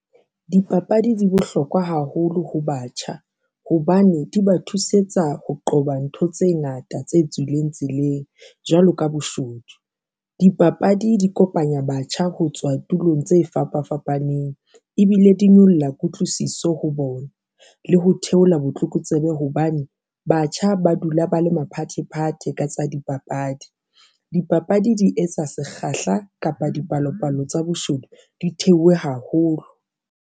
Dipapadi di bohlokwa haholo ho batjha hobane di ba thusetsa ho qoba ntho tse ngata tse tswileng tseleng jwalo ka boshodu. Dipapadi di kopanya batjha ho tswa tulong tse fapa fapaneng ebile di nyolla kutlwisiso ho bona le ho theola botlokotsebe hobane batjha ba dula ba le maphathephathe ka tsa dipapadi, dipapadi di etsa sekgahla kapa dipalopalo tsa boshodu di theohe haholo.